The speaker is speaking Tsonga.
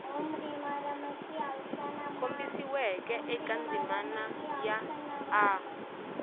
kombisiweke eka ndzimana ya a